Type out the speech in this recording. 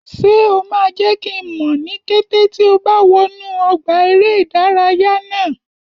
Ṣé o máa jẹ́ kí n mọ̀ ní kété tí o bá wọnú ọgbà eré ìdárayá náà?